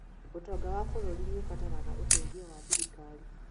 ũtonga wa bũrũri nĩũrabatara ũteithio wa thirikari